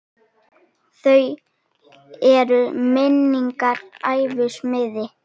Þau eru minnar gæfu smiðir.